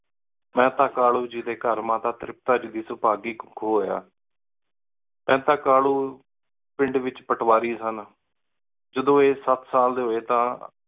ਮੇਹਤਾ ਕਾਲੁ ਗੀ ਡੀ ਘਰ ਮਾਤਾ ਤ੍ਰਿਪਤਾ ਦੀ ਸੁਪਾਘੀ ਕਹੁ ਏਚ ਹੋਯਾ ਮੇਹਤਾ ਕਾਲੁ ਪਿੰਡ ਏਚ ਪਟਵਾਰੀ ਸਨ ਜਦੋਂ ਆਯ ਸਤ ਸਾਲ ਡੀ ਹੋਏ ਤਾਂ